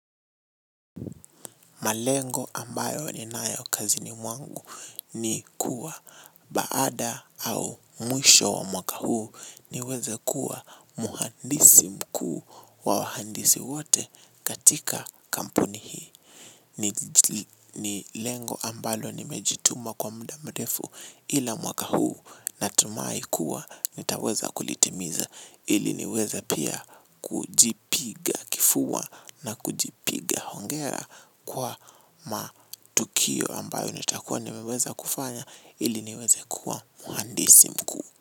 Malengo ambayo ninayo kazini mwangu ni kuwa baada au mwisho wa mwaka huu niweze kuwa mhandisi mkuu wa wahandisi wote katika kampuni hii. Ni lengo ambalo nimejituma kwa muda mrefu ila mwaka huu natumai kuwa nitaweza kulitimiza ili niweze pia kujipi na kujipiga hongera kwa matukio ambayo nitakuwa nimeweza kufanya ili niweze kuwa mhandisi mkuu.